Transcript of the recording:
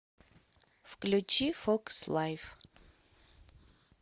включи фокс лайф